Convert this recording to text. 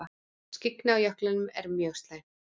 Skyggni á jöklinum er mjög slæmt